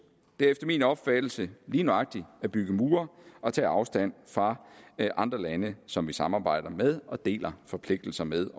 det er efter min opfattelse lige nøjagtig at bygge mure og tage afstand fra andre lande som vi samarbejder med og deler forpligtelser med